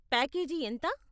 Package ఎంత?